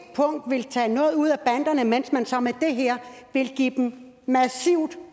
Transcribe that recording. punkt vil tage noget ud af banderne mens man så med det her vil give dem massivt